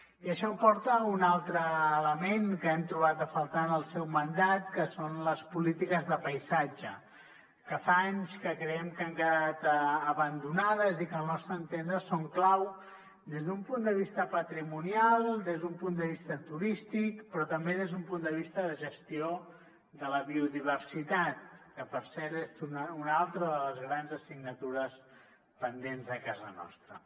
i això em porta a un altre element que hem trobat a faltar en el seu mandat que són les polítiques de paisatge que fa anys que creiem que han quedat abandonades i que al nostre entendre són clau des d’un punt de vista patrimonial des d’un punt de vista turístic però també des d’un punt de vista de gestió de la biodiversitat que per cert és una altra de les grans assignatures pendents a casa nostra